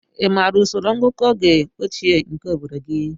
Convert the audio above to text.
Ị ma usoro ngụkọ oge ochie nke obodo gị?